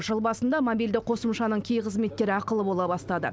жыл басында мобильді қосымшаның кей қызметтері ақылы бола бастады